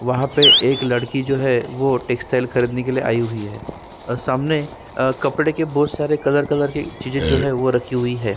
वहाँ पे एक लड़की जो है वो टेक्सस्टाइल खरीदने के लिए आई हुई है और सामने अ कपड़े के बहुत सारे कलर कलर के चीजे जो है वो रखी हुई हैं।